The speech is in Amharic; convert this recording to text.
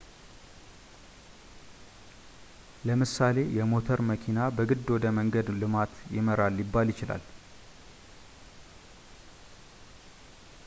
ለምሳሌ የሞተር መኪና በግድ ወደ መንገድ ልማት ይመራል ሊባል ይችላል